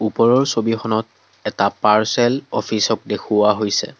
ওপৰৰ ছবিখনত এটা পাৰ্চেল অফিচক দেখুওৱা হৈছে।